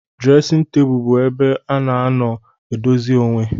Dresin table bu ebe ana anọ edozi onwee.